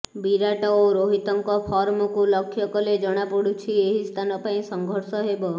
ବିରାଟ ଓ ରୋହିତଙ୍କ ଫର୍ମକୁ ଲକ୍ଷ୍ୟ କଲେ ଜଣାପଡ଼ୁଛି ଏହି ସ୍ଥାନ ପାଇଁ ସଂଘର୍ଷ ହେବ